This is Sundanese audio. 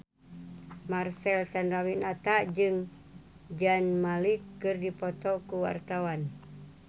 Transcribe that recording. Marcel Chandrawinata jeung Zayn Malik keur dipoto ku wartawan